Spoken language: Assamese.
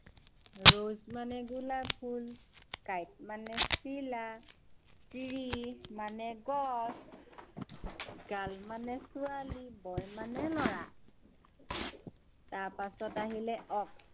rose মানে গোলাপ ফুল, kite মানে চিলা, tree মানে গছ, girl, মানে ছোৱালী, boy মানে লৰা। তাৰপাছত আহিলে ox